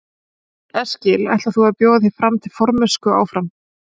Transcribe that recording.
Karl Eskil: Ætlar þú að bjóða þig fram til formennsku áfram?